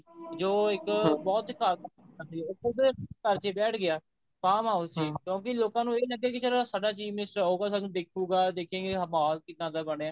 ਜੋ ਇੱਕ ਬਹੁਤ ਹੀ ਘਾਤਕ ਬਿਮਾਰੀ ਉੱਥੋਂ ਦੇ ਘਰ ਚ ਹੀ ਬੈਠ ਗਿਆ farm house ਚ ਕਿਉਂਕਿ ਲੋਕਾਂ ਨੂੰ ਇਹੀ ਲੱਗਿਆ ਕਿ ਚਲੋ ਸਾਡਾ chief minister ਆਊਗਾ ਸਾਨੂੰ ਦੇਖੁਗਾ ਉਹ ਦੇਖੁਗਾ ਕਿ ਮਹੋਲ ਕਿੱਦਾਂ ਦਾ ਬਣਿਆ